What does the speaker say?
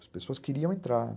As pessoas queriam entrar